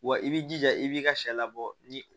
Wa i b'i jija i b'i ka sɛ labɔ ni